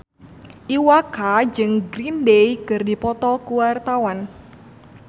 Iwa K jeung Green Day keur dipoto ku wartawan